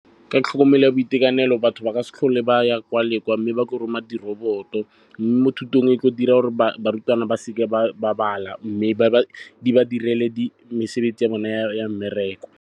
Ka tlhokomelo ya boitekanelo batho ba ka se tlhole ba ya kwa le kwa mme ba ke roma di-robot-o. Mme mo thutong e tlo dira barutwana ba seke ba bala mme e ba direle mesebetsi ya bona ya mmereko.